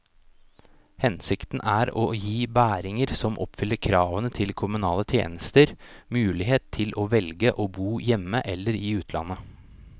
Hensikten er å gi bæringer som oppfyller kravene til kommunale tjenester, mulighet til å velge å bo hjemme eller i utlandet.